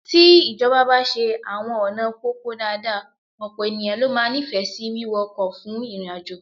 Tí ìjọba bá ṣe àwọn ọ̀nà pópó dáadáa, ọ̀pọ̀ ènìyàn ló máa nífẹ̀ẹ́ sí wíwọ ọkọ̀ fún ìrìnàjò